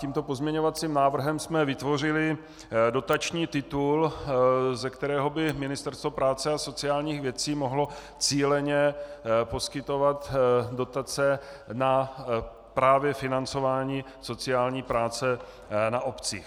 Tímto pozměňovacím návrhem jsme vytvořili dotační titul, ze kterého by Ministerstvo práce a sociálních věcí mohlo cíleně poskytovat dotace právě na financování sociální práce na obcích.